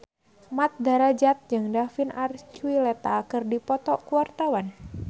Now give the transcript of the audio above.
Mat Drajat jeung David Archuletta keur dipoto ku wartawan